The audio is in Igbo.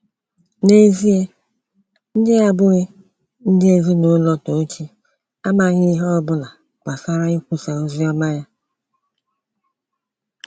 N'ezịe, ndị abụghị ndị ezinụlọ Tochi amaghị ihe ọbụla gbasara ikwusa ozi ọma ya.